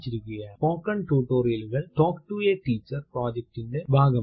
spoken ടുട്ടോറിയലുകൾ talk to a teacher പ്രൊജക്റ്റിറ്റിന്റെ ഭാഗമാണ്